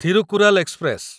Thirukkural express